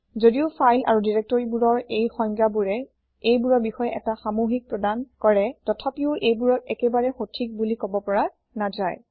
যদিও ফাইল আৰু দিৰেক্তৰিবোৰৰ এই সংজ্ঞাবোৰে এইবোৰৰ বিষয়ে এটা সামোহিক প্ৰদান কৰে তথাপিও এইবোৰক একেবাৰে সঠিক বোলি কব পৰা নাযায়